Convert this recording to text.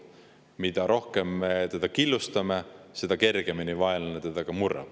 Mida rohkem me ühiskonda killustame, seda kergemini vaenlane meid murrab.